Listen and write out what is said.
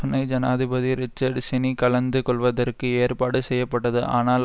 துணை ஜனாதிபதி Richard Cheney கலந்து கொள்வதற்கு ஏற்பாடுசெய்யப்பட்டது ஆனால்